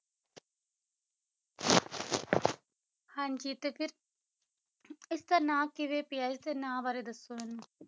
ਹਾਂਜੀ ਤੇ ਫਿਰ ਇਸਦਾ ਨਾਂ ਕਿਵੇਂ ਪਿਆ ਇਸਦੇ ਨਾਂ ਬਾਰੇ ਦੱਸੋ ਮੈਨੂੰ